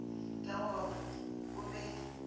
ka go re o be